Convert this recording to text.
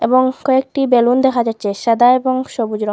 এবং কয়েকটি বেলুন দেখা যাচ্ছে সাদা এবং সবুজ রং।